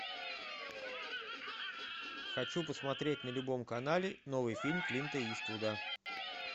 хочу посмотреть на любом канале новый фильм клинта иствуда